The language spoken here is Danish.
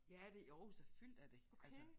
Ja det Aarhus er fyldt af det altså